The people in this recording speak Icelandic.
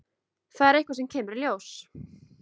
Það er eitthvað sem kemur í ljós.